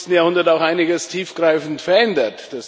21. Jahrhundert auch einiges tiefgreifend verändert.